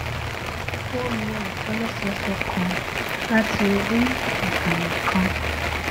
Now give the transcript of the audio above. ó lo ìtòlésẹẹsẹ kan láti orí ìkànnì kan